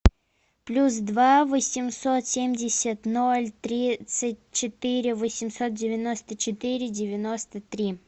плюс два восемьсот семьдесят ноль тридцать четыре восемьсот девяносто четыре девяносто три